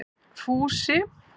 Fúsi